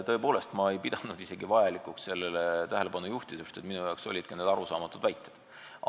Tõepoolest, ma ei pidanud isegi vajalikuks sellele tähelepanu juhtida, sest minu jaoks olid need arusaamatud väited.